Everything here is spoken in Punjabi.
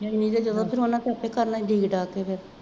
ਨਹੀਂ ਜੇ ਉਹਨਾ ਸਿਰ ਤੇ ਕਰ ਲੈਂਦੀ